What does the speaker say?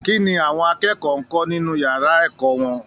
Kí ni àwọn akẹ́kọ̀ọ́ ń kọ́ nínú ìyàrá ẹ̀kọ́ wọn?